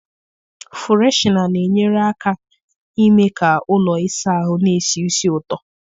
Fụreshịna na-enyere aka ime ka ụlọ ịsa ahụ n'esi ísì ụtọ.